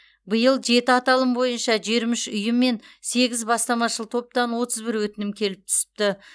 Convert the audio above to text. биыл жеті аталым бойынша жиырма үш ұйым мен сегіз бастамашыл топтан отыз бір өтінім келіп түсіпті